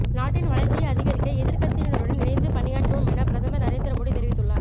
நாட்டின் வளர்ச்சியை அதிகரிக்க எதிர்க்கட்சியினருடன் இணைந்து பணியாற்றுவோம் என பிரதமர் நரேந்திர மோடி தெரிவித்துள்ளார்